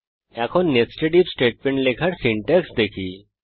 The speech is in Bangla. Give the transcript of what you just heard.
এখন নেস্টেড আইএফ স্টেটমেন্ট লেখার সিনট্যাক্স দেখি